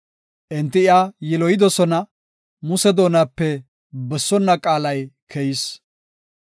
Enti iya yiloyidosona; Muse doonape bessonna qaalay keyis.